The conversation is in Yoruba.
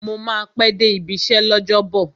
Mo máa pẹ́ dé ibi iṣẹ́ l'ọ́jọ́bọ̀